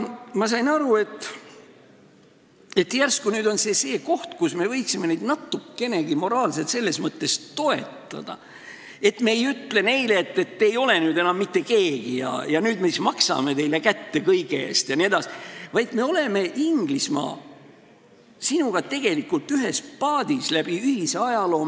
Ma sain aru, et järsku nüüd on see see koht, kus me võiksime neid natukenegi moraalselt selles mõttes toetada, et me ei ütle neile, et te ei ole nüüd enam mitte keegi ja nüüd me siis maksame teile kätte kõige eest jne, vaid me oleme, Inglismaa, sinuga tegelikult ühes paadis, oleme seal olnud läbi ühise ajaloo.